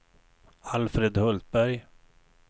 Alfred Hultberg